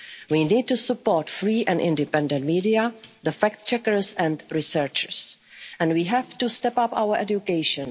as a society. We need to support free and independent media the fact-checkers and researchers. And we have to step up